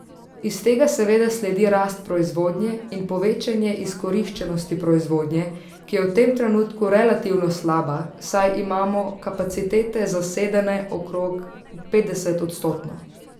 Iz tega seveda sledi rast proizvodnje in povečanje izkoriščenosti proizvodnje, ki je v tem trenutku relativno slaba, saj imamo kapacitete zasedene okrog petdeset odstotno.